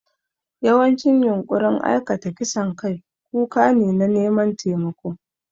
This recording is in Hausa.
Yawancin yunƙurin aikata kisan kai kuka ne na neman taimako.